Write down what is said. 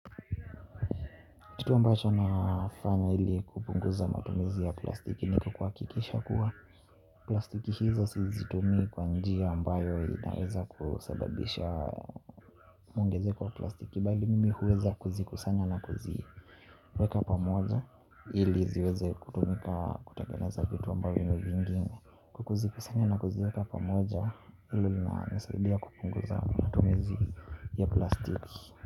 Kitu ambacho nafanya ili kupunguza matumizi ya plastiki ni kwa kuhakikisha kuwa plastiki hizo sizitumii kwa njia ambayo inaeza kusababisha mwongezeko wa plastiki bali mimi huweza kuzikusanya na kuziweka pamoja ili ziweze kutumika kutengeneza vitu ambavyo vingine. Kwa kuzikusanya na kuziweka pamoja ili linanisaidia kupunguza matumizi ya plastiki.